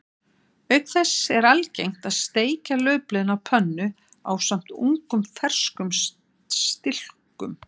Auk þess er algengt að steikja laufblöðin á pönnu ásamt ungum ferskum stilkum.